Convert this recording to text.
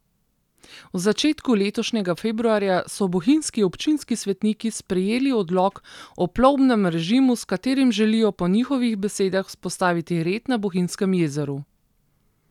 V začetku letošnjega februarja so bohinjski občinski svetniki sprejeli odlok o plovbnem režimu, s katerim želijo po njihovih besedah vzpostaviti red na Bohinjskem jezeru.